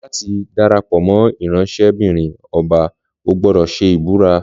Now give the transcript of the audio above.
Láti darapọ̀ mọ ìránṣẹ́-bìrin ọba, o gbódò ṣe ìbúra